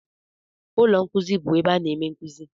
Ụlọ nkuzi bụ ebe a na-eme nkuzi.